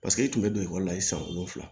Paseke e tun bɛ don ekɔli la i san wolonwula